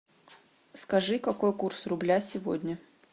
скажи какой курс рубля сегодня